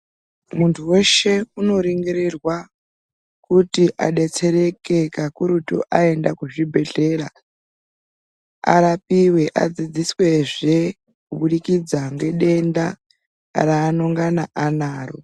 Muntu weshe unoningirirwa kuti adetsereke kakurutu aenda kuzvibhedhlera arapiwe adzidziswezve kubudikidza ngedenda rangana anaro.